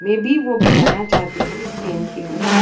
Maybe ओ अब जाना चाहते हैं इस ट्रैन के उपर।